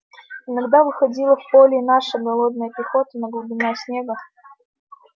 иногда выходила в поле и наша голодная пехота но глубина снега